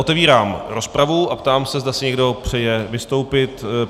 Otevírám rozpravu a ptám se, zda si někdo přeje vystoupit.